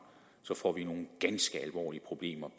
så får nogle ganske alvorlige problemer